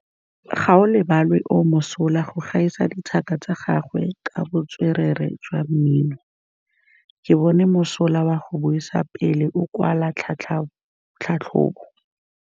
Gaolebalwe o mosola go gaisa dithaka tsa gagwe ka botswerere jwa mmino. Ke bone mosola wa go buisa pele o kwala tlhatlhobô.